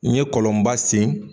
N ɲe kolonba sen